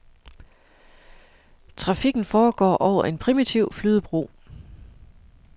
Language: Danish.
Trafikken foregår over en primitiv flydebro.